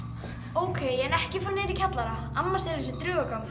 ókei en ekki fara niður í kjallara amma segir að sé draugagangur